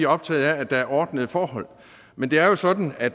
optaget af at der er ordnede forhold men det er jo sådan at